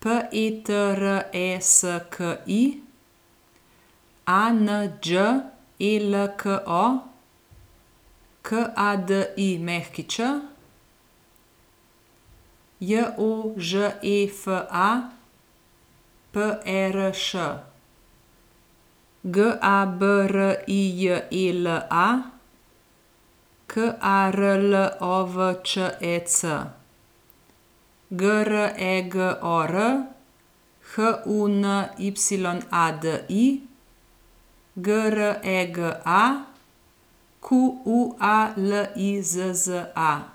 P E T R E S K I; A N Đ E L K O, K A D I Ć; J O Ž E F A, P E R Š; G A B R I J E L A, K A R L O V Č E C; G R E G O R, H U N Y A D I; G R E G A, Q U A L I Z Z A.